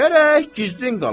Gərək gizlin qala.